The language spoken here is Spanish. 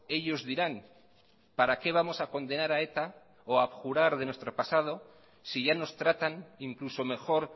ellos dirán para qué vamos a condenar a eta o abjurar de nuestro pasado si ya nos tratan incluso mejor